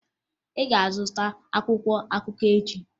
Ị ga-azụta akwụkwọ akụkọ echi!